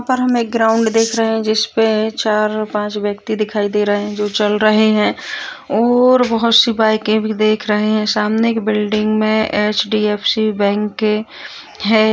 यहाँ पर हमें एक ग्राउंड दिख रहे है जिसपे चार पाँच व्यक्ति दिखाई दे रहे हैं जो चल रहे है और बहुत से बाइके भी दिख रहे हैं सामने एक बिल्डिंग मे एच.डी.एफ.सी. बैंक है।